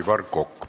Aivar Kokk, palun!